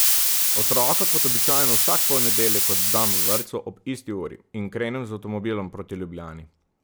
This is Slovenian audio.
Otroka kot običajno vsak ponedeljek oddam v vrtcu ob isti uri in krenem z avtomobilom proti Ljubljani.